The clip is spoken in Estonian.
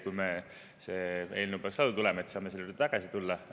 Kui see eelnõu peaks lauda tulema, siis me saame selle juurde tagasi tulla.